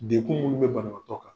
Denkun minnu bɛ banabatɔ kan,